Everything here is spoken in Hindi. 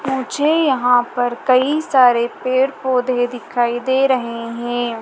मुझे यहां पर कई सारे पेड़ पौधे दिखाई दे रहे हैं।